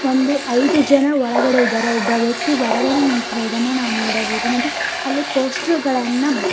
ಒಂದು ಐದು ಜನ ಒಳಗಡೆ ಇದ್ದಾರೆ ಒಬ್ಬ ವ್ಯಕ್ತಿ ಹೊರಗಡೆ ನಿಂತ್ ಇರುವುದನ್ನು ನಾವ್ ನೋಡಬಹುದು ಮತ್ತೆ ಅಲ್ಲಿ ಪೋಸ್ಟರು ಗಳನ್ನ --